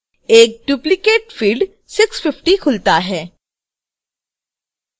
एक duplicate field 650 खुलता है